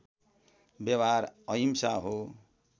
व्यवहार अहिंसा हो